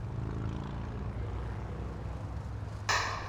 афина рязань территориальный банк